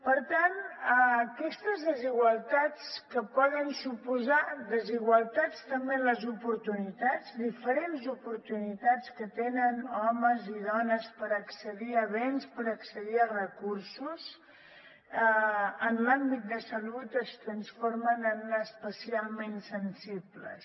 per tant aquestes desigualtats que poden suposar desigualtats també en les oportunitats diferents oportunitats que tenen homes i dones per accedir a béns per accedir a recursos en l’àmbit de salut es transformen en especialment sensibles